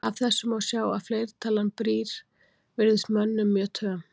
Af þessu má sjá að fleirtalan brýr virðist mönnum mjög töm.